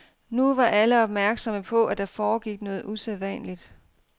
Nu var alle opmærksomme på, at der foregik noget usædvanligt.